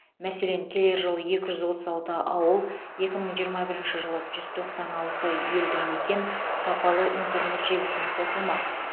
мәселен келер жылы екі жүз отыз алты ауыл екі мың жиырма бірінші жылы жүз тоқсан алты елді мекен сапалы интернет желісіне қосылмақ